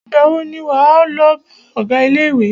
Ìgbà wo ni wà á lọ bá ọgá ilé ìwé?